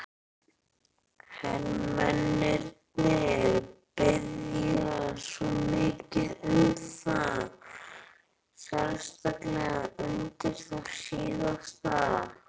Hermennirnir biðja svo mikið um það, sérstaklega undir það síðasta.